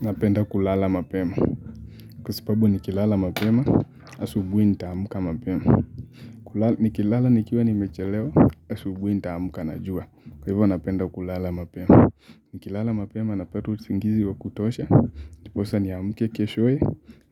Napenda kulala mapema, kwa sababu nikilala mapema, asubuhi nitaamka mapema. Nikilala nikiwa nimechelewa, asubuhi nitaamka na jua. Kwa hivyo napenda kulala mapema. Nikilala mapema napata usingizi wa kutosha ndiposa niamke keshoye,